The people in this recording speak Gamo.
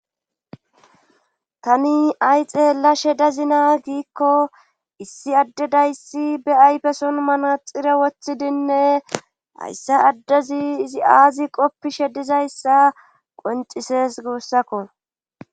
Tani ay xeella shedazina giikko issi addedayssi be aypeson manaxire woththidinne hayssa addezi izi aazi qoppishe dizayssa qoncises gubussakko.